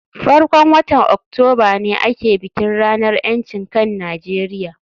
farkon watan Oktoba ne ake bikin ranar ‘yancin kan Najeriya